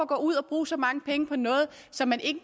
gå ud og bruge så mange penge på noget som man ikke